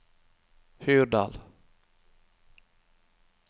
Hurdal